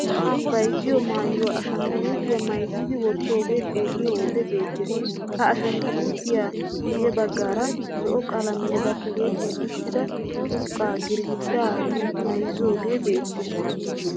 Bayzziyo maayuwa ashangguluutiya mayzzidi wottoogee xeelliyo wode beettees. Ha ashangguluutiya guyye baggaara zo"o qalamiyan tiyetti uttida curqqaa girggidaa mayzzidoogee beettees.